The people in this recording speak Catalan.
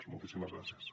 moltíssimes gràcies